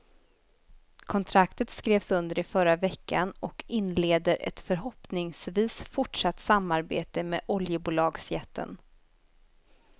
Kontraktet skrevs under i förra veckan och inleder ett förhoppningsvis fortsatt samarbete med oljebolagsjätten.